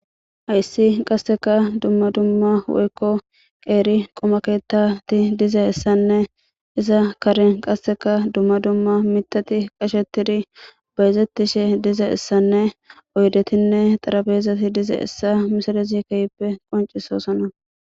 Hayssi qasseka dumma dumma woykko qeeri qomaketati diza issanne iza karen qasseka dumma dumma mitati qashetiri bayzettishe diza issanne oydetinne xarabeezati dize essa misalezikeyppe qoncisosana.